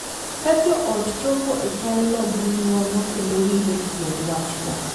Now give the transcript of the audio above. Ka jo ot chopo e chalno gi ng’uono kendo winjo tiend wachno,